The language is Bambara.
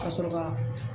Ka sɔrɔ ka